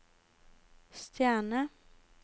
stjerne